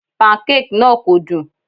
Pancake náà kò dùn.